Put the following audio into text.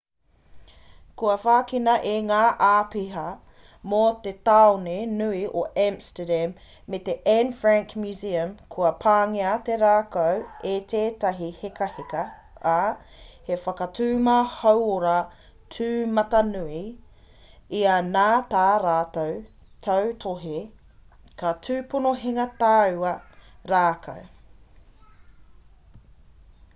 kua whakina e ngā āpiha mō te tāone nui o amsterdam me te anne frank museum kua pāngia te rākau e tētahi hekaheka ā he whakatuma hauora tūmatanui ia nā tā rātou tautohe ka tūpono hinga taua rākau